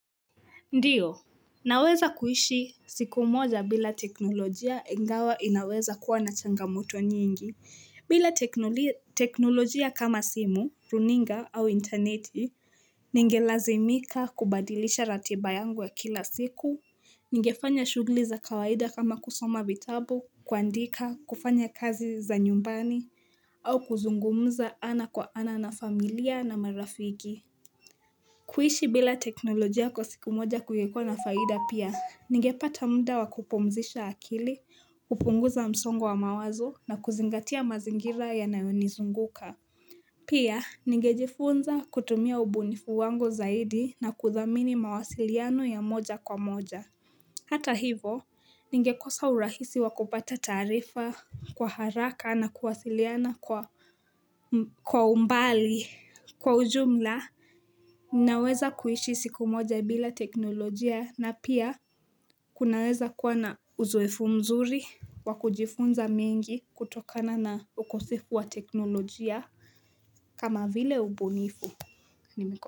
Ndiyo Naweza kuishi siku moja bila teknolojia engawa inaweza kuwa na changamoto nyingi bila teknolojia kama simu, runinga au interneti Ningelazimika kubadilisha ratiba yangu ya kila siku Nigefanya shuguli za kawaida kama kusoma vitabu, kuandika, kufanya kazi za nyumbani au kuzungumuza ana kwa ana na familia na marafiki kuishi bila teknolojia kwa siku moja kuyekona faida pia, nigepata mda wakupomzisha akili, kupunguza msongo mawazo na kuzingatia mazingira yanayonizunguka. Pia, nigejifunza kutumia ubunifu wango zaidi na kuthamini mawasiliano ya moja kwa moja. Hata hivo ningekosa urahisi wakupata tarifa kwa haraka na kuwasiliana kwa umbali kwa ujumla Ninaweza kuishi siku moja bila teknolojia na pia kunaweza kuana uzoefu mzuri wakujifunza mengi kutokana na ukosefu wa teknolojia kama vile ubunifu ni miko.